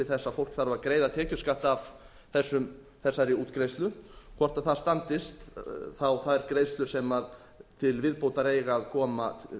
að ríkið þarf að greiða tekjuskatt af þessari útgreiðslu hvort það standist þær greiðslur sem til viðbótar eiga að koma